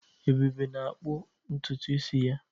Ebube na-akpụ ntutu isi ya.